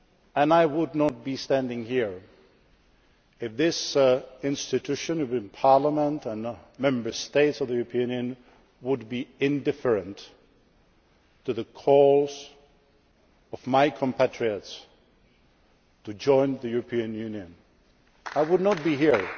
And I would not be standing here if this institution, this Parliament and Member States of the European Union, were indifferent to the calls of my compatriots to join the European Union. I would not be